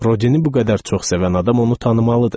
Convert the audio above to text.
Rodini bu qədər çox sevən adam onu tanımalıdır.